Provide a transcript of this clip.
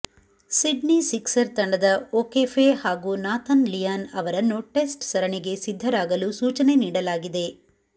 Sydney Sixer ತಂಡದ O'Keefe ಹಾಗೂ Nathan Lyon ಅವರನ್ನು ಟೆಸ್ಟ್ ಸರಣಿಗೆ ಸಿದ್ಧರಾಗಲು ಸೂಚನೆ ನೀಡಲಾಗಿದೆ